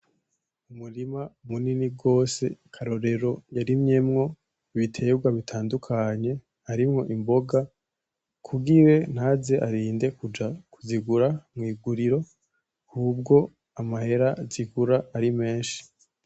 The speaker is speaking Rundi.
Umurima munini gose Karorero yarimyemwo ibiterwa bitandukanye harimwo imboga kugira ntaze arinde kuja kuzigura mwiguriro hubwo amahera zigura ari menshi .